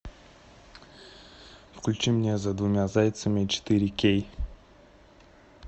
включи мне за двумя зайцами четыре кей